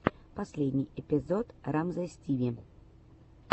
последний эпизод рамзесстиви